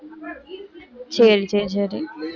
சரி, சரி, சரி